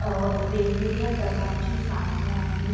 अ वेगवेगळ्या प्रकारची साधने आहेत.